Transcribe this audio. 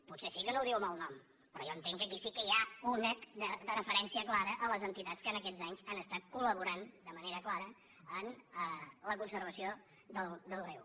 potser sí que no ho diu amb el nom però jo entenc que aquí sí que hi ha una referència clara a les entitats que en aquests anys han estat col·laborant de manera clara en la conservació del riu